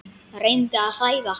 Reyndi að hræða hann.